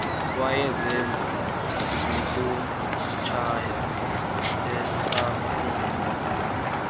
wayezenza zokutshaya esafunda